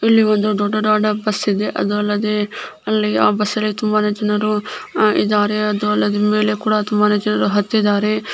ಇಲಿ ಒಂದು ದೊಡ್ಡದಾದ ಬಸ್ ಇದೆ ಅದು ಅಲ್ಲದೆ ಆ ಬಸ್ಸಿನಲ್ಲಿ ತುಂಬಾ ಜನರು ಅದು ಅಲ್ಲದೆ ತುಂಬಾನೇ ಜನರು ಹತ್ತಿದರೆ.